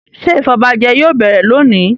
Ṣé ìfọbajẹ yóò bẹ̀rẹ̀ lónìí??